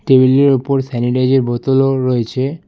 টেবিলের ই স্যানিটাইজের বোতলও রয়েছে।